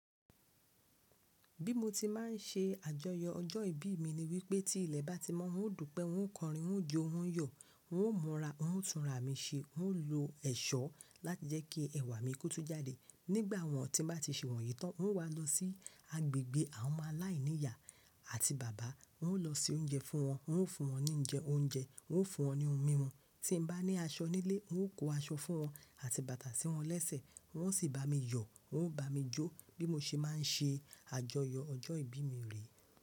Bí mo ti máà ń ṣe àjọyọ̀ ọjọ́ ìbí mi ni wípé tí ilẹ̀ bá ti mọ́, n ó dùpẹ́, n ó kọrin, n ó jó, n ó yọ̀, n ó múra, n ó túnra mi ṣe, n ó lo ẹ̀ṣọ́ láti jẹ́ kí ẹwà mi kó tún jáde. Nígbà wọ́n ti bá ti ṣe wọ̀nyí tán, n wá lọ sí agbègbè àwọn ọmọ aláìníyà àti bàbà. N ó lọ se oúnjẹ fún wọn, n ó fún wọn ní oúnjẹ, wọ́n ó fún wọn ní ohun mímu. Tí n bá ní aṣọ nílé, n ó kó aṣọ fún wọn àti bàtà sí wọn lẹ́sẹ̀. Won o sì bá mi yọ̀, wọ́n ó bá mi jó, bí mo ṣe máa ń ṣe àjọyọ̀ ọjọ́ ìbí mi re.